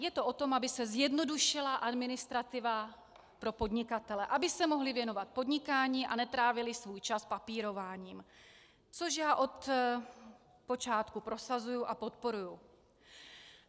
Je to o tom, aby se zjednodušila administrativa pro podnikatele, aby se mohli věnovat podnikání a netrávili svůj čas papírováním, což já od počátku prosazuji a podporuji.